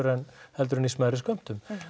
vanabindingu heldur en í smærri skömmtum